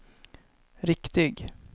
riktig